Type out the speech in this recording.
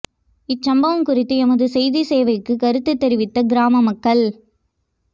இச்சம்பவம் குறித்து எமது செய்திச் சேவைக்கு கருத்து தெரிவித்த கிராம மக்கள்